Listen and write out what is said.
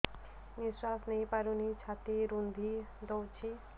ନିଶ୍ୱାସ ନେଇପାରୁନି ଛାତି ରୁନ୍ଧି ଦଉଛି